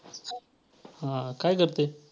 हां, काय करते.